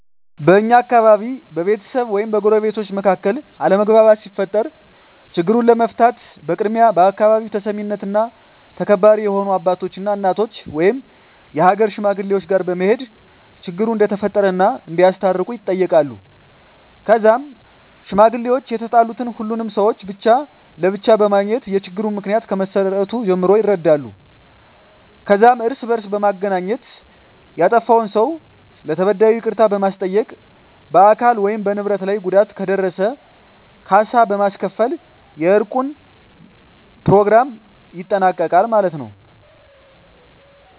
በእኛ አካባቢ በቤተሰብ ወይም በጎረቤቶች መካከል አለመግባባት ሲፈጠር ችግሩን ለመፍታት በቅድሚያ በአካባቢው ተሰሚነትና ተከባሪ የሆኑ አባቶች እና እናቶች ወይም የሀገር ሽማግሌወች ጋር በመሄድ ችግሩ እንደተፈጠረ እና እንዲያስታርቁ ይጠየቃሉ ከዛም ሽማግሌወች የተጣሉትን ሁሉንም ሰውች ብቻ ለብቻ በማግኘት የችግሩን ምክንያ ከመሰረቱ ጀምሮ ይረዳሉ ከዛም እርስ በእርስ በማገናኘት ያጠፍውን ሰው ለተበዳዩ ይቅርታ በማስጠየቅ በአካል ወይም በንብረት ላይ ጉዳት ከደረሰ ካሳ በማስከፈል የእርቁን በኘሮግራሙ ይጠናቀቃል ማለት የው።